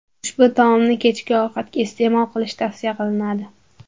Ushbu taomni kechki ovqatga iste’mol qilish tavsiya qilinadi.